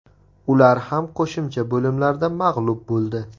Ular ham qo‘shimcha bo‘limlarda mag‘lub bo‘ldi.